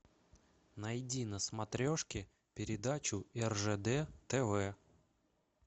найди на смотрешке передачу ржд тв